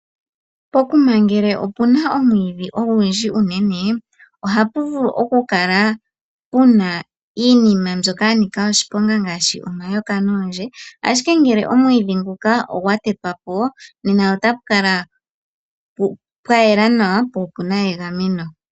Pokuma ngele opuna omwiidhi ogundji unene ohapu vulu oku kala puna iinima mbyoka ya nika oshiponga ngaashi omayoka noondje, ashike ngele omwiidhi nguka ogwa tetwa po, nena ota pu kala pwa yela nawa, po opuna egameno.